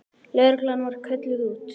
Lögreglan var kölluð út.